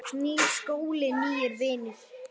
Nýr skóli, nýir vinir.